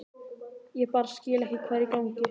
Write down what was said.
Ég bara skil ekki hvað er í gangi.